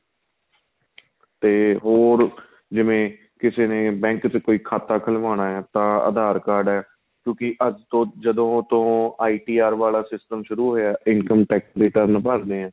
ਤੇ ਹੋਰ ਜਿਵੇਂ ਕਿਸੇ ਨੇ bank ਵਿੱਚ ਕੋਈ ਖਾਤਾਂ ਖੁੱਲਵਾਉਣਾ ਏ ਤਾਂ aadhar card ਏ ਕਿਉਂਕਿ ਅੱਜ ਤੋ ਜਦੋਂ ਤੋ IT R ਵਾਲਾਂ system ਸ਼ੁਰੂ ਹੋਇਆ ਏ Income Tax ਭਰਦੇ ਹਾਂ